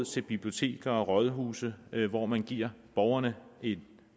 til biblioteker og rådhuse hvor man giver borgerne en